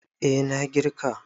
A na girka